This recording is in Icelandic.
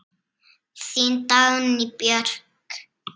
Þín Dagný Björk.